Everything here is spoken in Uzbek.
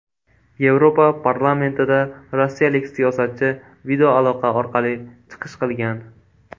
Yevropa parlamentida rossiyalik siyosatchi videoaloqa orqali chiqish qilgan.